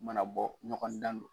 U mana bɔ ɲɔgɔn dan don.